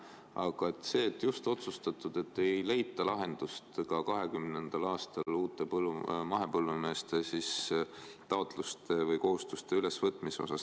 Aga see, et ei leita lahendust ka 2020. aastal uute mahepõllumeeste taotluste või kohustuste osas?